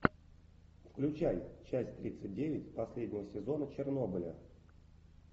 включай часть тридцать девять последнего сезона чернобыля